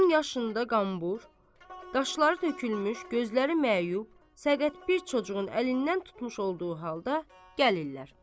10 yaşında qambur, dişləri tökülmüş, gözləri məyub, səqət bir çocuğun əlindən tutmuş olduğu halda gəlirlər.